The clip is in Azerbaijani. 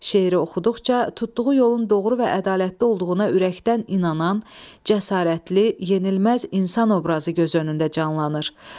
Şeiri oxuduqca tutduğu yolun doğru və ədalətli olduğuna ürəkdən inanan, cəsarətli, yenilməz insan obrazı göz önündə canlanır.